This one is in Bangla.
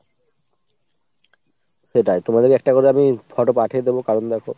সেটাই তুমাদের একটা করে আমি photo পাঠিয়ে দেব কারণ দ্যাখো,